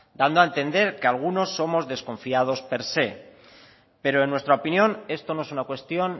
dando a entender que algunos somos desconfiados per se pero en nuestra opinión esto no es una cuestión